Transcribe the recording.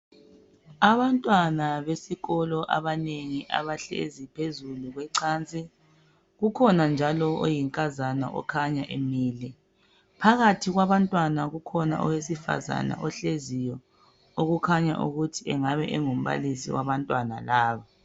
Abantwana besikolo abahleziyo phezu kwecansi. Kukhona njalo oyinkazana okhanya emile. Phakathi kwabantwana kukhona owesifazana ohleziyo okukhanya ukuthi angabe engumbalisi wabantwana laba.